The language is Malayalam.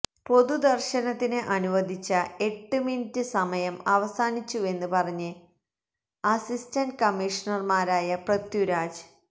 പൊതുദര്ശനത്തിന് അനുവദിച്ച എട്ട് മിനിറ്റ് സമയം അവസാനിച്ചുവെന്ന് പറഞ്ഞ് അസിസ്റ്റന്റ് കമ്മീഷണര്മാരായ പ്രത്യുരാജ്